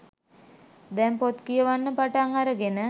දැන් පොත් කියවන්න පටන් අරගෙන